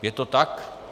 Je to tak?